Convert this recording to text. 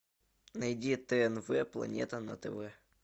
найди тнв планета на тв